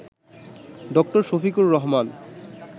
ডা. শফিকুর রহমান